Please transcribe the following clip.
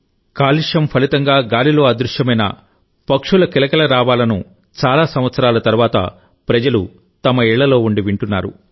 కాలుష్యం ఫలితంగా గాలిలో అదృశ్యమైన పక్షుల కిలకిలరావాలను చాలా సంవత్సరాల తరువాత ప్రజలు తమ ఇళ్ళలో ఉండి వింటున్నారు